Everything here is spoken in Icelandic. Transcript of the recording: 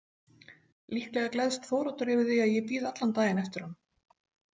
Líklega gleðst Þóroddur yfir því að ég bíð allan daginn eftir honum.